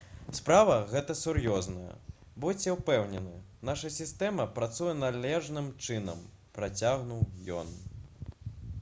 «справа гэта сур'ёзная. будзьце ўпэўнены наша сістэма працуе належным чынам» — працягнуў ён